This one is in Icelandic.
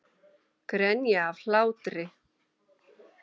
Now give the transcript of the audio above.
Grenja af hlátri.